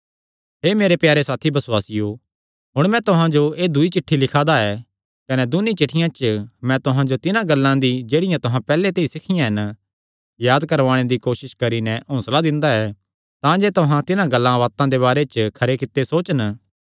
हे मेरे प्यारे साथी बसुआसियो हुण मैं तुहां जो एह़ दूई चिठ्ठी लिखा दा ऐ कने दून्नी चिठ्ठियां च मैं तुहां जो तिन्हां गल्लां दी जेह्ड़ियां तुहां पैहल्ले ते सिखियां हन याद करवाणे दी कोसस करी नैं हौंसला दिंदा ऐ तांजे तुहां तिन्हां गल्लां दे बारे च खरे कित्ते सोचन